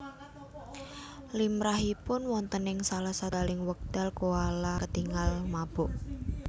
Limrahipun wonten ing salah setunggaling wekdal koala ketingal mabuk